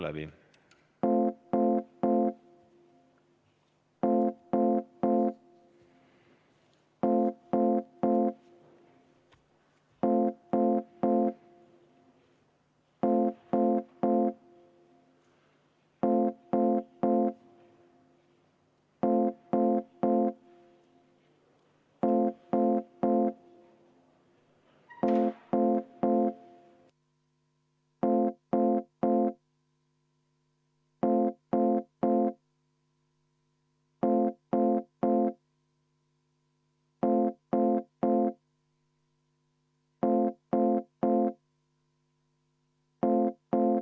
Aitäh!